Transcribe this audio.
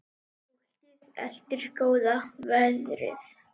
Fólkið elti góða veðrið.